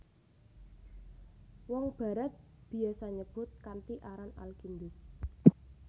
Wong Barat biasa nyebut kanthi aran Al Kindus